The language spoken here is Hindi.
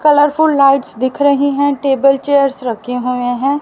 कलरफुल लाइट्स दिख रही हैं टेबल चेयर रखे हुए हैं।